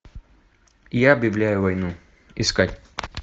я объявляю войну искать